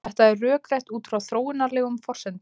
Þetta er rökrétt út frá þróunarlegum forsendum.